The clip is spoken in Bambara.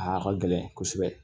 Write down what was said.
A ka gɛlɛn kosɛbɛ